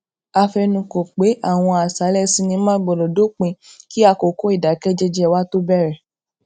a fẹnukò pé àwọn àṣálẹ sinimá gbódò dópin kí àkókò ìdákẹ jẹjẹ wa tó bèrè